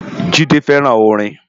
Jide fèrán órin